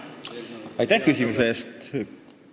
Aitäh küsimuse eest!